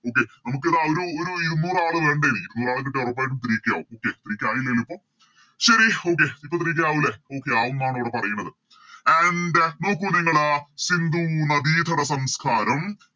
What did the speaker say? Okay നമുക്കിത ഒരു ഒരു ഇരുനൂറാളെ വേണ്ടാരിക്കും നൂറാളെകിട്ടിയാൽ ഉറപ്പായിട്ടും Three k ആവും Okay three k ആയില്ലല്ലോ ഇപ്പൊ ശരി Okay ഇപ്പൊ Three k ആവൂലെ Okay ആവുംന്നാണ് ഇവിടെ പറയണത് And നോക്കു നിങ്ങള് സിന്ധു നദിതട സംസ്കാരം